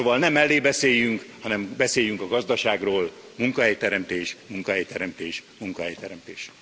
Szóval ne mellébeszéljünk, hanem beszéljünk a gazdaságról munkahelyteremtés, munkahelyteremtés, munkahelyteremtés.